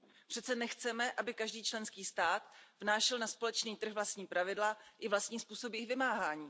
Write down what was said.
Přece nechceme, aby každý členský stát vnášel na společný trh vlastní pravidla i vlastní způsob jejich vymáhání.